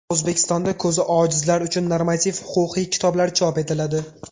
O‘zbekistonda ko‘zi ojizlar uchun normativ-huquqiy kitoblar chop etiladi.